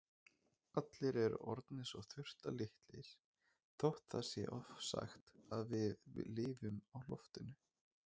Allir eru orðnir svo þurftarlitlir þótt það sé ofsagt að við lifum á loftinu.